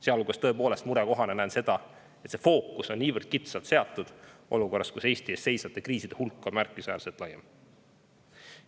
Sealhulgas näen tõepoolest murekohana seda, et fookus on niivõrd kitsalt seatud, ja seda olukorras, kus Eesti ees seisvate kriiside hulk on märkimisväärselt laiem.